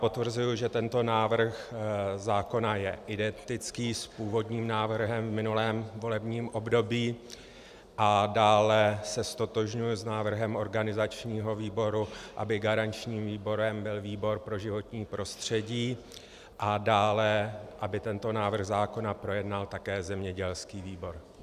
Potvrzuji, že tento návrh zákona je identický s původním návrhem v minulém volebním období, a dále se ztotožňuji s návrhem organizačního výboru, aby garančním výborem byl výbor pro životní prostředí, a dále, aby tento návrh zákona projednal také zemědělský výbor.